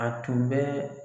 A tun bɛ